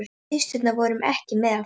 Við systurnar vorum ekki meðal þeirra.